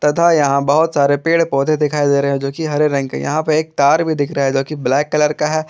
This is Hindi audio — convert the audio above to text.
तथा यहां बहुत सारे पेड़ पौधे दिखाई दे रहे हैं जो कि हरे रंग के हैं यहां पे एक तार भी दिख रहा है जो कि ब्लैक कलर का है।